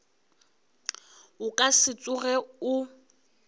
o ka se tsoge o